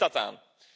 Waar ligt dat aan?